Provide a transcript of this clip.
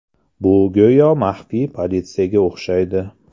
Bu go‘yo maxfiy politsiyaga o‘xshaydi.